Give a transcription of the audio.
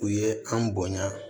U ye an bonya